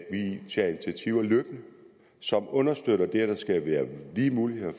initiativer løbende som understøtter det at der skal være lige muligheder